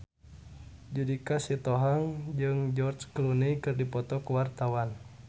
Judika Sitohang jeung George Clooney keur dipoto ku wartawan